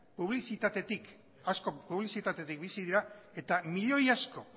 publizitatetik bizi dira eta milioi asko